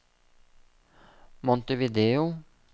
Montevideo